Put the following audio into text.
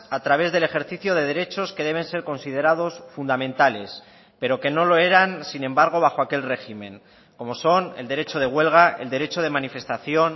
a través del ejercicio de derechos que deben ser considerados fundamentales pero que no lo eran sin embargo bajo aquel régimen como son el derecho de huelga el derecho de manifestación